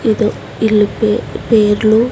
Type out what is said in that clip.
ఎదో ఇళ్ల పే పేర్లు.